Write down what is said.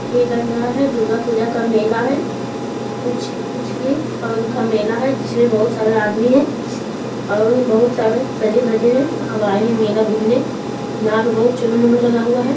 यह लग रहा है दुर्गा पूजा का मेला है कुछ-कुछ भी पर्व का मेला है जिसे जिसमें बहुत सारे आदमी हैं बहुत सारे सजे-धजे हैं सब आए हैं मेला घूमने यहाँ पर बहुत चुनु-वुनू लगा हुआ है।